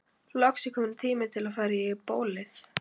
Loks er kominn tími til að fara í bólið.